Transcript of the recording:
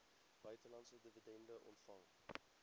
buitelandse dividende ontvang